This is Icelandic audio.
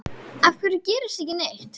Af hverju gerist ekki neitt?